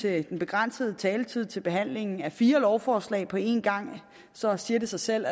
af den begrænsede taletid til behandlingen af fire lovforslag på en gang så siger det sig selv